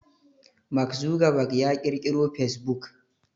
Mark Zuckerberg ya ƙirkiro fasebuk